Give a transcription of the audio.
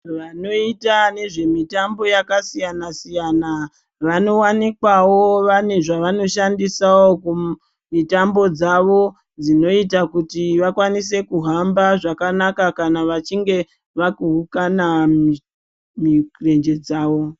Vanoita nezvemitambo yakasiyana-siyana vanowanikwawo vane zvevanoshandisawo kumitambo dzavo, dzinoita kuti vakwanise kuhamba zvakanaka kana vachinge vakuhukana mimirenje dzavo.